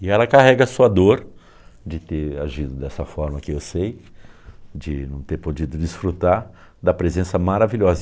E ela carrega a sua dor de ter agido dessa forma que eu sei, de não ter podido desfrutar da presença maravilhosa.